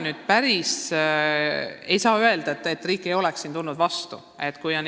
Nii et ei saa öelda, et riik ei oleks vastu tulnud.